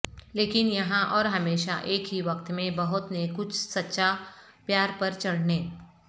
لیکن یہاں اور ہمیشہ ایک ہی وقت میں بہت نےکچھ سچا پیار پر چڑھنے